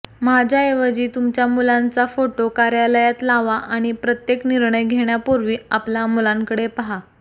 माझ्याऐवजी तुमच्या मुलांचा फोटो कार्यालयात लावा आणि प्रत्येक निर्णय घेण्यापूर्वी आपल्या मुलांकडे पाहा